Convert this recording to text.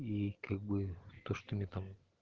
и как бы то что мне там